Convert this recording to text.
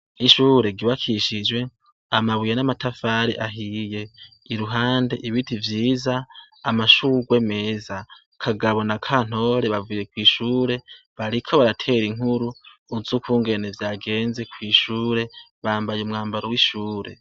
Ishure ryubakishijwe amabuye namatafari ahiye, iruhande ibiti vyiza, amashurwe meza, Kagabo na Kantore bavuye kw'ishure bariko baratera inkuru z'ukungene vyageze kw'ishure, bambaye umwambaro w'ishure.